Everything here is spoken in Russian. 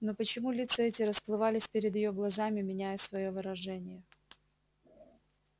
но почему лица эти расплывались перед её глазами меняя своё выражение